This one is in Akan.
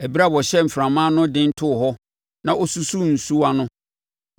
Ɛberɛ a ɔhyɛɛ mframa ano den too hɔ na ɔsusuu nsuwa no,